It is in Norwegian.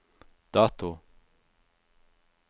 dato